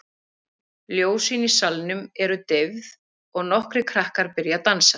Ljósin í salnum eru deyfð og nokkrir krakkar byrja að dansa.